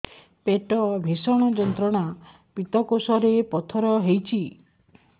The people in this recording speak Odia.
ପେଟ ଭୀଷଣ ଯନ୍ତ୍ରଣା ପିତକୋଷ ରେ ପଥର ହେଇଚି